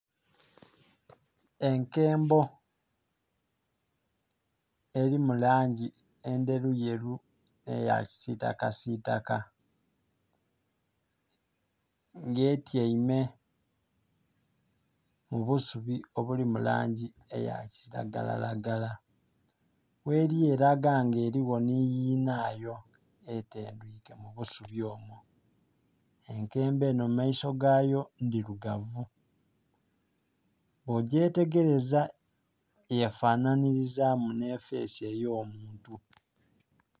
Enkembo eri mu langi endheruyeru nh'eya kisitakasitaka. Nga etyaime mu busubi obuli mu langi eya kiragalalagala. Gheli elaga nga eliwo nhi yinayo etendhwike mu busubi omwo. Enkembo enho mu maiso gayo ndhirugavu. Bwo gyetegereza yefanhanhilizaamu nhe fesi ey'omuntu.